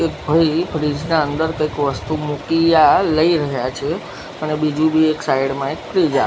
એક ભઈ ફ્રીઝ ના અંદર કઈક વસ્તુ મૂકી યા લઇ રહ્યા છે અને બીજું બી એક સાઇડ મા એક ફ્રીઝ આ--